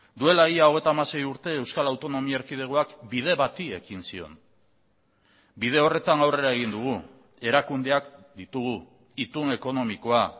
duela ia hogeita hamasei urte euskal autonomia erkidegoak bide bati ekin zion bide horretan aurrera egin dugu erakundeak ditugu itun ekonomikoa